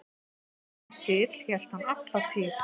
Þeim sið hélt hann alla tíð.